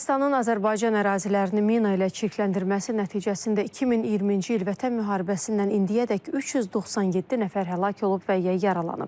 Ermənistanın Azərbaycan ərazilərini mina ilə çirkləndirməsi nəticəsində 2023-cü il Vətən müharibəsindən indiyədək 397 nəfər həlak olub və ya yaralanıb.